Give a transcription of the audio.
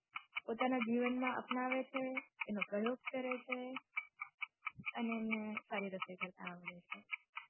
પોતાના જીવન માં અપનાવે છે એનો પ્રયોગ કરે છે અને એમને સારી રસોઈ કરતાં આવડે છે.